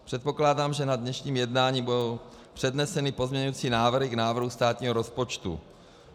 Předpokládám, že na dnešním jednání budou předneseny pozměňovací návrhy k návrhu státního rozpočtu.